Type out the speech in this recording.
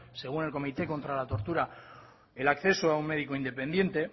según el comité contra la tortura el acceso a un médico independiente